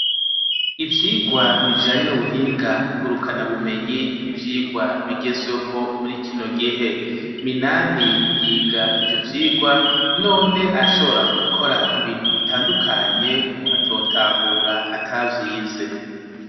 Ivyirwa bijanye n'ubuhinga ngurukana bumenyi n'ivyirwa bigezweho muri kino gihe Minani yiga ivyo vyigwa none arashobora gukora ibintu bitandukanye umuntu atotahura atavyize